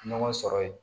Ɲɔgɔn sɔrɔ yen